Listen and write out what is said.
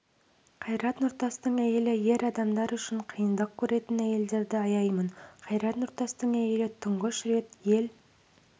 қайрат нұртастың әйелі ер адамдар үшін қиындық көретін әйелдерді аяймын қайрат нұртастың әйелі тұңғыш рет ел